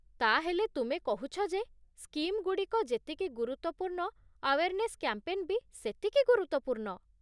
ତା'ହେଲେ ତୁମେ କହୁଛ ଯେ ସ୍କିମ୍‌ଗୁଡ଼ିକ ଯେତିକି ଗୁରୁତ୍ଵପୂର୍ଣ୍ଣ ଆୱେର୍ନେସ୍ କ୍ୟାମ୍ପେନ୍ ବି ସେତିକି ଗୁରୁତ୍ୱପୂର୍ଣ୍ଣ ।